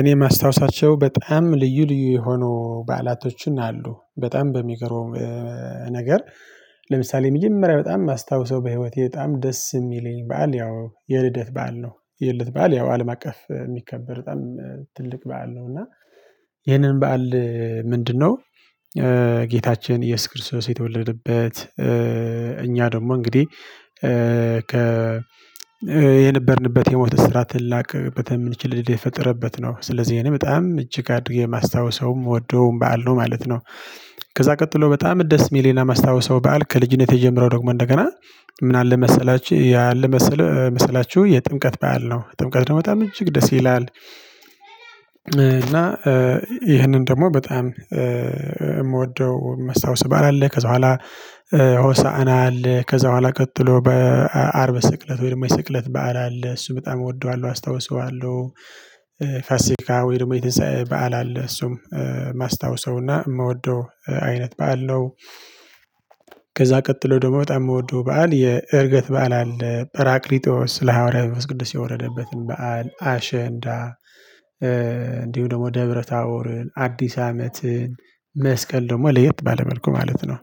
እኔ ማስታውሳቸው በጣም ልዩ ልዩ የሆኑ በዓላቶችን አሉ በጣም በሚገርመው ነገር ለምሳሌ መጀመሪያ በጣም የማስታውሰው በህይወቴ በጣም ደስ የሚለኝ በዓል ያው የልደት በዓል ነው። የልደት በዓል ያው አለም አቀፍ የሚከበር በጣም ትልቅ በዓል ነው። እና ይሄንን በዓል ምንድነው? ጌታችን ኢየሱስ ክርስቶስ የተወለደበት እኛ ደግሞ እንግዲህ ከ የነበርንበት የሞት እስራት ልንላቀቅበተ የምንችል እድል የተፈጠረበት ነው። ስለዚህ ይሄንን በጣም እጅግ አድርጌ የማስታውሰውም ምወደውም በዓል ነው ማለት ነው። ከዛ ቀጥሎ በጣም ደስ የሚለኝ እና ማስታውሰው በዓል ከልጅነቴ ጀምሮ ደግሞ እንደገና ምን አለ መሰላችሁ ያለ መሰላችሁ የጥምቀት በዓል ነው። ጥምቀት ደግሞ በጣም እጅግ ደስ ይላል። እና ይህንን ደግሞ በጣም የምወደው ማስታውሰው በዓል አለ። ከዛ በኋላ ሆሳዕና አለ። ከዛ በኋላ ቀጥሎ በአርብ ስቅለት ወይም የስቅለት በዓል አለ። እሱን በጣም እወደዋለሁ አስታውሰዋለሁ። ፋሲካ ወይ ደግሞ የትንሳኤ በዓል አለ። እሱም ማስታውሰው እና የምወደው አይነት በዓል ነው። ከዛ ቀጥሎ ደግሞ በጣም የምወደው በዓል የእርገት በዓል አለ በራቅሊጦስ ስለ ሐዋርያ መንፈስ ቅዱስ የወረደበትን በዓል አሸንዳ እንዲሁ ደግሞ ደብረታቦርን አዲስ አመትን መስቀል ደግሞ ለየት ባለ መልኩ ማለት ነው።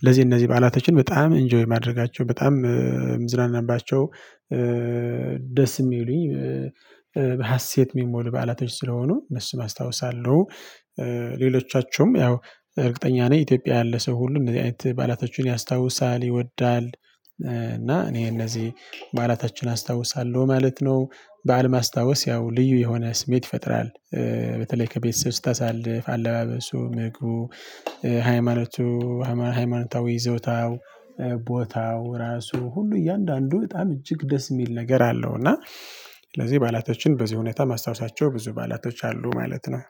እነዚህ እነዚህ በዓላቶችን በጣም ኢንጆይ የማደርጋቸው በጣም የምዝናናባቸው ደስ የሚሉኝ በሀሴት የሚሞሉ በዓላቶች ስለሆኑ እነሱን አስታውሳለሁ። ሌሎቻቸውም ያው እርግጠኛ ነኝ ኢትዮጵያ ያለ ሰው ሁሉ እንደዚህ አይነት በዓላቶችን ያስታውሳል ይወዳል። እና እኔ እነዚህ በዓላታችን አስታውሳለሁ ማለት ነው። በዓል ማስታወስ ያው ልዩ የሆነ ስሜት ይፈጥራል። በተለይ ከቤተሰብ ስታሳልፍ አለባበሱ ምግቡ ሃይማኖቱ ሃይማኖታዊ ይዞታው ቦታው ራሱ ሁሉ እያንዳንዱ በጣም እጅግ ደስ የሚል ነገር አለው። እና ስለዚህ በዓላቶችን በዚህ ሁኔታ ማስታውሳቸው ብዙ በዓላቶች አሉ ማለት ነው